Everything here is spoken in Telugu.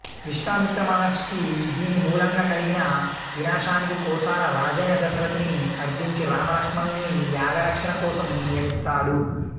విశ్వామిత్ర మహర్షికి దీనిమూలంగా కలిగిన వినాశనానికి కోసల రాజైన దశరథుని అర్ధించి రామలక్ష్మణుల్ని యాగరక్షణ కోసం నియమిస్తాడు